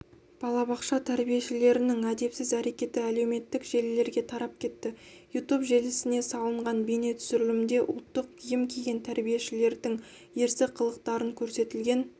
балабақша тәрбиешілерінің әдепсіз әрекеті әлеуметтік желілерге тарап кетті ютуб желісіне салынған бейнетүсірілімде ұлттық киім киген тәрбиешілердің ерсі қылықтары көрсетілген